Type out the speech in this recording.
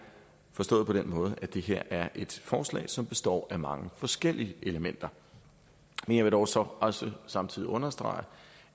forstået på den måde at det her er et forslag som består af mange forskellige elementer men jeg vil dog så også samtidig understrege